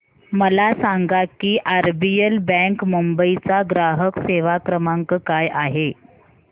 मला सांगा की आरबीएल बँक मुंबई चा ग्राहक सेवा क्रमांक काय आहे